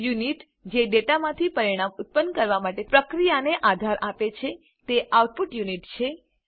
unit જે ડેટામાંથી પરિણામ ઉત્પન્ન કરવા માટેની પ્રક્રિયાને આધાર આપે છે તે આઉટપુટ યુનિટ છે